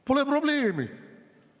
Pole probleemi!